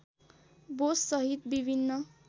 बोस सहित विभिन्न